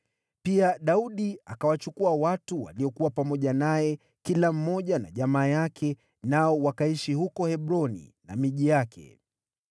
Pia Daudi akawachukua watu waliokuwa pamoja naye, kila mmoja na jamaa yake, nao wakaishi huko Hebroni na miji yake.